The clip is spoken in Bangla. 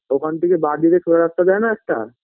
ওখান থেকে বাঁ দিকে সোজা রাস্তা যায় না একটা